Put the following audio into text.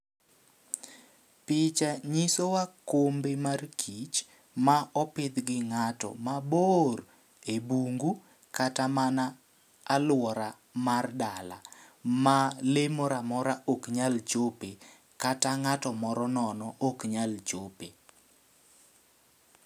Picha nyiso wa kombe mar kich ma opidh gi ng'ato mabor e bungu kata mana alwora mar dala. Ma lee mora mora ok nyal chope kata ng'ato moro nono ok nyalo chope.